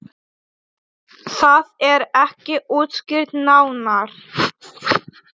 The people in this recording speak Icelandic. Það er ekki útskýrt nánar.